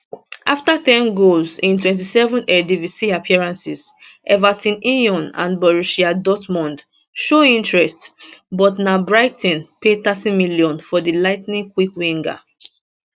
afta ten goals in 27 eredivisie appearances everton lyon and borussia dortmund show interest but na brighton pay 30m for di lightning quick winger